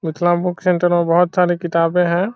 मिथला में book centre में बहुत सारे किताबें हैं।